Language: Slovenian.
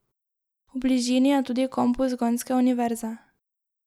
V bližini je tudi kampus ganske univerze.